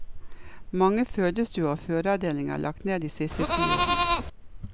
Mange fødestuer og fødeavdelinger er lagt ned de siste ti årene.